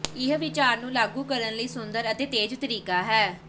ਇਹ ਵਿਚਾਰ ਨੂੰ ਲਾਗੂ ਕਰਨ ਲਈ ਸੁੰਦਰ ਅਤੇ ਤੇਜ਼ ਤਰੀਕਾ ਹੈ